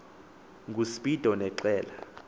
nguspido ne qela